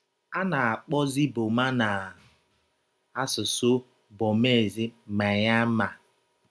A na - akpọzi Burma na asụsụ Burmese Myanmar.